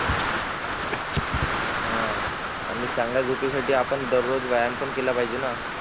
हान आणि चांगल्या झोपे साठो आपण दररोज व्यायाम पण केला पाहिजे ना